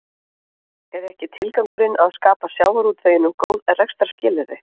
Er ekki tilgangurinn að skapa sjávarútveginum góð rekstrarskilyrði?